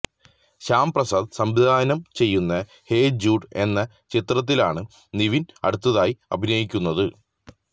ശ്യാമപ്രസാദ് സംവിധാനം ചെയ്യുന്ന hey Jude എന്ന ചിത്രത്തിലാണ് നിവിന് അടുത്തതായി അഭിനയിക്കുന്നത്